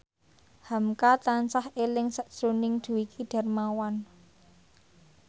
hamka tansah eling sakjroning Dwiki Darmawan